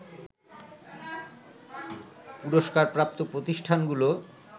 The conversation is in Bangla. পুরস্কারপ্রাপ্ত প্রতিষ্ঠানগুলো